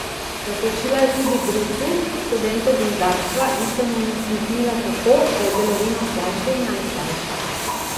Natočila je tudi brucu, študentu gozdarstva, in se mu nasmehnila tako, da je bilo vino slajše in najslajše.